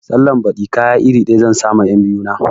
Sallan baɗi kaya iri ɗaya zan sa ma 'yan biyu na